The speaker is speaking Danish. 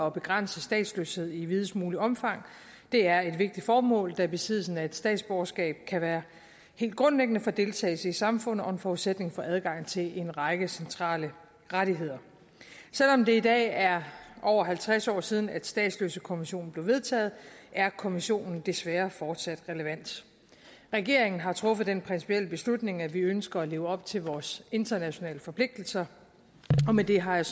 at begrænse statsløshed i videst muligt omfang og det er et vigtigt formål da besiddelse af et statsborgerskab kan være helt grundlæggende for deltagelse i samfundet og en forudsætning for adgang til en række centrale rettigheder selv om det i dag er over halvtreds år siden at statsløsekonventionen blev vedtaget er konventionen desværre fortsat relevant regeringen har truffet den principielle beslutning at vi ønsker at leve op til vores internationale forpligtelser og med det har jeg